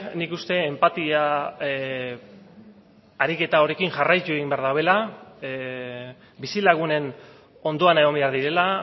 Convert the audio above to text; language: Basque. nik uste enpatia ariketa horrekin jarraitu egin behar dabela bizilagunen ondoan egon behar direla